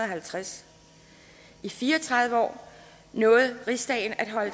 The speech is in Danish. halvtreds i fire og tredive år nåede rigsdagen at holde